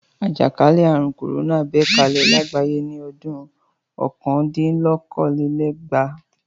Àjàkálẹ̀ àrùn kòrónà bẹ́ kalẹ̀ lágbàáyé ní ọdún kọkàndínlókòólélẹ́gbàá.